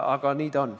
Aga nii ta on.